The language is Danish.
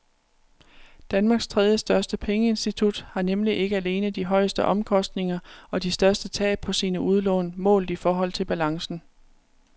Danmarks tredjestørste pengeinstitut har nemlig ikke alene de højeste omkostninger og de største tab på sine udlån målt i forhold til balancen.